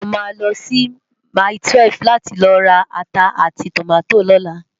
Tayo má lò si máitúèf láti lò rá àtá áti tómàtó lòlá